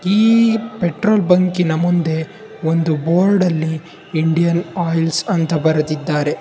ಈ ಪೆಟ್ರೋಲ್ ಬಂಕಿನ ಮುಂದೆ ಒಂದು ಬೋರ್ಡಲ್ಲಿ ಇಂಡಿಯನ್ ಆಯಿಲ್ಸ್ ಅಂತ ಬರೆದಿದ್ದಾರೆ.